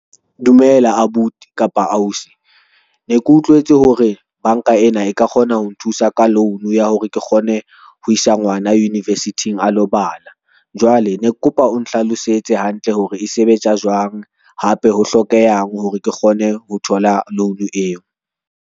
Dumela abuti kapa ausi, ne ke utlwetse hore banka ena e ka kgona ho nthusa ka loan ya hore ke kgone ho isa ngwana university-ng a lo bala, jwale ne ke kopa o nhlalosetse hantle hore e sebetsa jwang. Hape ho hlokehang hore ke kgone ho thola loan eo.